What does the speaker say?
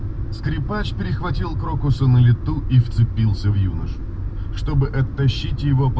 чтобы